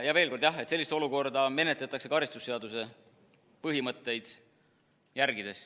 Ja veel kord: jah, sellist olukorda menetletakse karistusseadustiku põhimõtteid järgides.